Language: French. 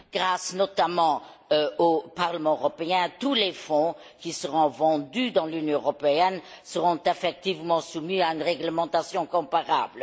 Grâce notamment au Parlement européen, tous les fonds qui seront vendus dans l'Union européenne seront effectivement soumis à une réglementation comparable.